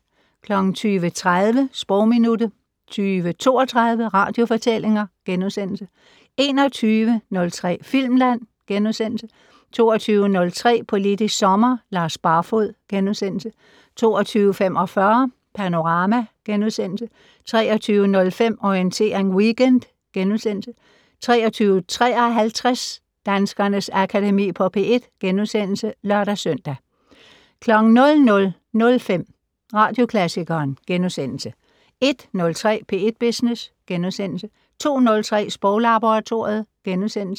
20:30: Sprogminuttet 20:32: Radiofortællinger * 21:03: Filmland * 22:03: Politisk Sommer: Lars Barfoed * 22:45: Panorama * 23:05: Orientering Weekend * 23:53: Danskernes Akademi på P1 *(lør-søn) 00:05: Radioklassikeren * 01:03: P1 Business * 02:03: Sproglaboratoriet *